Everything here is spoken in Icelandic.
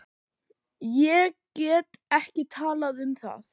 Ég get ekki talað um það.